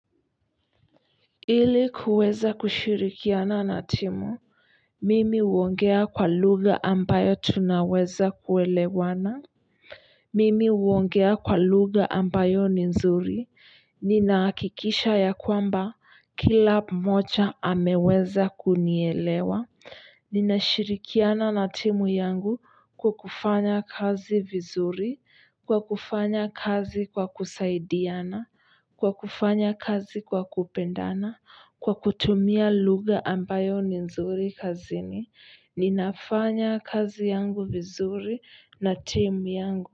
Ili kuweza kushirikiana na timu, mimi uongea kwa lugha ambayo tunaweza kuelewana mimi uongea kwa lugha ambayo ni nzuri, nina hakikisha ya kwamba kila mmoja ameweza kunielewa. Ninashirikiana na timu yangu kwa kufanya kazi vizuri, kwa kufanya kazi kwa kusaidiana kwa kufanya kazi kwa kupendana kwa kutumia lugha ambayo ni nzuri kazini ninafanya kazi yangu vizuri na timu yangu.